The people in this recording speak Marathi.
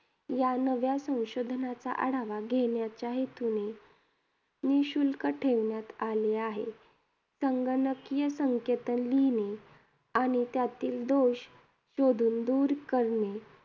या नव्या संशोधनाचा आढावा घेण्याच्या हेतूने निःशुल्क ठेवण्यात आले आहे. संगणकीय संकेतन लिहिणे, आणि त्यातील दोष शोधून दूर करणे